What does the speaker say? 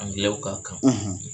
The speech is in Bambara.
Angilɛw ka kan.